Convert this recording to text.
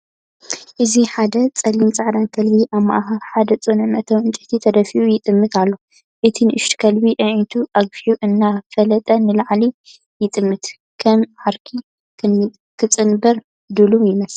እዚ ሓደ ጸሊምን ጻዕዳን ከልቢ ኣብ ማእከል ሓደ ጽኑዕ መእተዊ ዕንጨይቲ ተደፊኡ ይጥምት ኣሎ። እቲ ንእሽቶ ከልቢ ኣዒንቱ ኣግፊሑ እናፈለጠ ንላዕሊ ይጥምት፤ ከም ዓርኪ ክጽንበር ድሉው ይመስል።